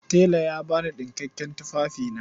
Tela ya ba ni ɗinkakkiyar tufafina.